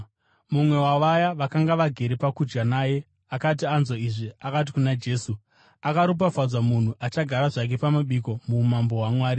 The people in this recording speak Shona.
Mumwe wavaye vakanga vagere pakudya naye akati anzwa izvi, akati kuna Jesu, “Akaropafadzwa munhu achagara zvake pamabiko muuMambo hwaMwari.”